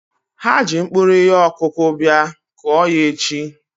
Ha ji mkpụrụ ihe ọkụkụ bia, kụọ ya echi!